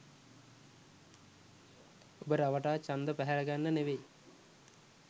ඔබ රවටා ඡන්ද පැහැරගන්න ‍නෙවෙයි.